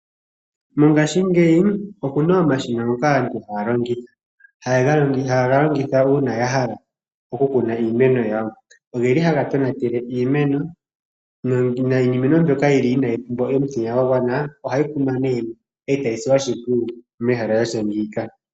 Mongashingeyi oku na omashina ngoka aantu haya longitha. Haye ga longitha uuna ya hala okukuna iimeno yawo. Ohaga tonate iimeno, niimeno mbyoka inayi pumbwa omutenya ogundji ohayi kunwa nduno e tayi silwa oshimpwiyu mehala lya tya ngiika.